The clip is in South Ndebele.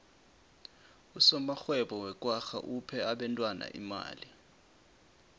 usomarhwebo wekwagga uphe abentwana imali